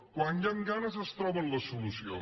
quan hi han ganes es troba la solució